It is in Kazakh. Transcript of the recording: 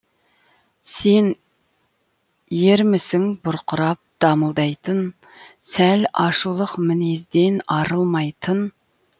сен ермісің бұрқырап дамылдайтын сәл ашулық мінезден арылмайтын